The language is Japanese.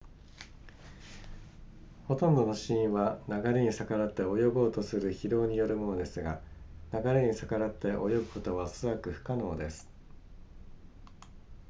ほとんどの死因は流れに逆らって泳ごうとする疲労によるものですが流れに逆らって泳ぐことはおそらく不可能です